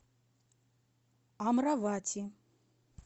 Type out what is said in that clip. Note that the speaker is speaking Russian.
амравати